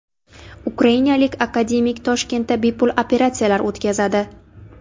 Ukrainalik akademik Toshkentda bepul operatsiyalar o‘tkazadi.